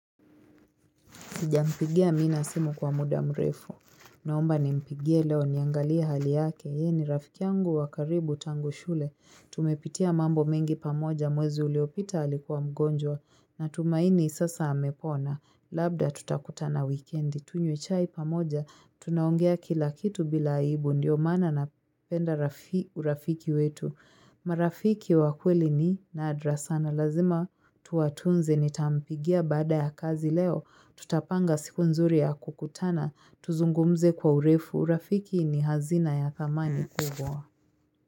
Sijampigia Amina simu kwa muda mrefu. Naomba nimpigie leo niangalia hali yake. Yeye ni rafiki yangu wa karibu tangu shule. Tumepitia mambo mengi pamoja mwezi uliopita alikuwa mgonjwa natumaini sasa amepona. Labda tutakutana wikendi. Tunywe chai pamoja. Tunaongea kila kitu bila aibu. Ndiyo maana napenda urafiki wetu. Marafiki wa kweli ni nadra sana lazima tuwatunze. Nitampigia baada ya kazi leo tutapanga siku nzuri ya kukutana tuzungumze kwa urefu. Urafiki ni hazina ya thamani kubwa.